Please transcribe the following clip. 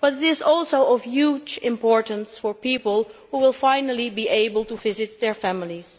but it is also of huge importance for people who will finally be able to visit their families,